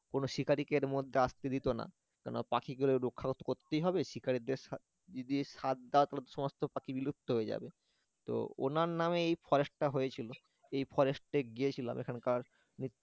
কোন শিকারিকে এর মধ্যে আসতে দিত না কেননা পাখিগুলোকে রক্ষা করতে হবে শিকারীদের যদি সাথ দাও তাহলে সমস্ত পাখি বিলুপ্ত হয়ে যাবে তো উনার নামে এই forest টা হয়েছিল এই forest এ গিয়েছিলাম এখানকার